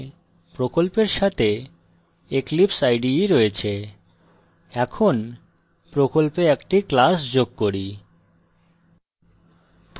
এখানে প্রকল্পের সাথে eclipseide রয়েছে এখন প্রকল্পে একটি class যোগ করি